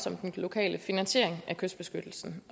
om den lokale finansiering af kystbeskyttelsen